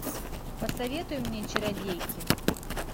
посоветуй мне чародейки